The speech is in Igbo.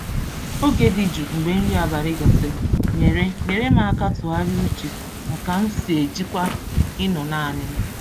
Oge dị jụụ mgbe nri abalị gasịrị nyere nyere m aka tụgharịa uche na ka m si ejikwa ịnọ naanị m.